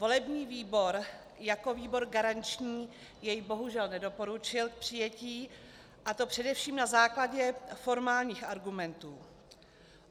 Volební výbor jako výbor garanční jej bohužel nedoporučil k přijetí, a to především na základě formálních argumentů.